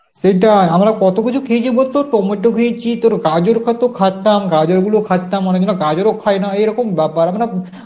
সেটাই আমরা কত কিছু খেয়েছি বলতো, টমেটো খেয়েছি, তোর গাঁজর কত খাতাম গাজর গুলো খাতাম অনেকজনা গাজরও খায় না এরকম ব্যাপার মানে